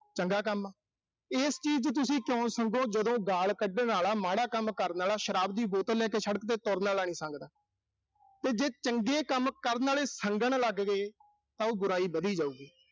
ਚੰਗਾ ਕੰਮ। ਇਸ ਚੀਜ਼ ਲਈ ਤੁਸੀਂ ਕਿਉਂ ਸੰਗੋ, ਜਦੋਂ ਗਾਲ ਕੱਢਣ ਆਲਾ, ਮਾੜਾ ਕੰਮ ਕਰਨ ਆਲਾ, ਸ਼ਰਾਬ ਦੀ ਬੋਤਲ ਲੈ ਕੇ ਸੜਕ ਤੇ ਫਿਰਨ ਆਲਾ ਨੀਂ ਸੰਗਦਾ। ਤੇ ਜੇ ਚੰਗੇ ਕੰਮ ਕਰਨ ਆਲੇ ਸੰਗਣ ਲੱਗ ਗਏ ਤਾਂ ਉਹ ਬੁਰਾਈ ਵਧੀ ਜਾਊਗੀ।